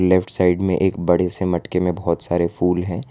Left side में एक बड़े से मटके में बहुत सारे फूल हैं।